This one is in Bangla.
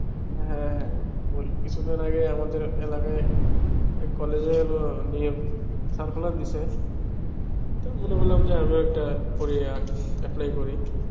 হ্যাঁ হ্যাঁ, কিচ্ছু দিন আগে আমার এলাকায় এক কলেজ এর হলো মনে করলাম যে আমি ও একটা apply করি.